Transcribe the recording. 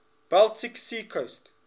baltic sea coast